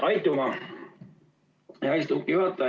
Aitüma, hea istungi juhataja!